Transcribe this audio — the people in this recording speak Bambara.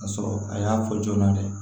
Ka sɔrɔ a y'a fɔ joona dɛ